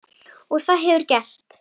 Og það hefurðu gert.